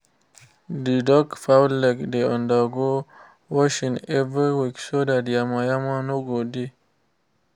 the duck fowl leg dey undergo washing every week so that yama-yama no go dey